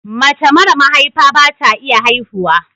Mace mara mahaifa bata iya haihuwa